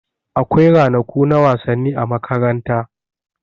Akwai ranaku na wasanni a makaranta.